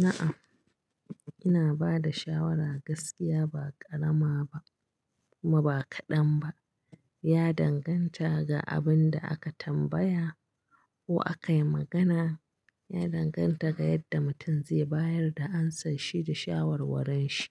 Na'am, ina bada shawara gaskiya ba ƙarama ba kuma ba kaɗan ba. Ya danganta ga abin da aka tambaya ko aka yi magana. Ya danganta ga yadda mutum zai bayar da amsa shi da shawarwaran shi.